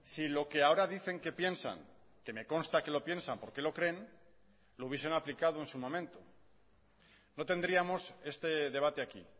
si lo que ahora dicen que piensan que me consta que lo piensan porque lo creen lo hubiesen aplicado en su momento no tendríamos este debate aquí